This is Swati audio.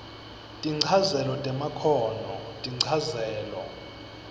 tinchazelo temakhono tinchazelo